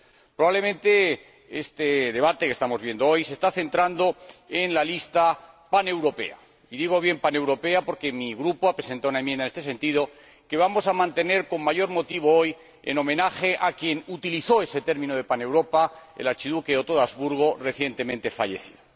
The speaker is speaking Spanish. Probablemente este debate que estamos viviendo hoy se está centrando en la lista paneuropea, y digo bien paneuropea, porque mi Grupo ha presentado una enmienda en este sentido que vamos a mantener, con mayor motivo hoy, en homenaje a quien utilizó ese término de Paneuropa, el archiduque Otto de Habsburgo, recientemente fallecido.